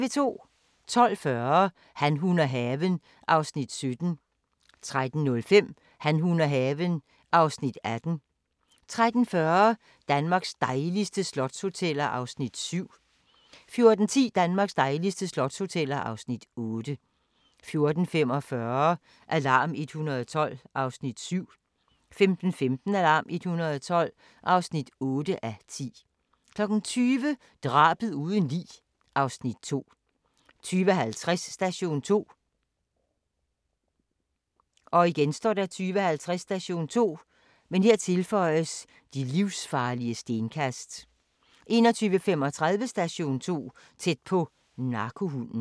12:40: Han, hun og haven (Afs. 17) 13:05: Han, hun og haven (Afs. 18) 13:40: Danmarks dejligste slotshoteller (Afs. 7) 14:10: Danmarks dejligste slotshoteller (Afs. 8) 14:45: Alarm 112 (7:10) 15:15: Alarm 112 (8:10) 20:00: Drabet uden lig (Afs. 2) 20:50: Station 2 20:50: Station 2: De livsfarlige stenkast 21:35: Station 2: Tæt på - narkohunden